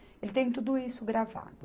Ele tem tudo isso gravado.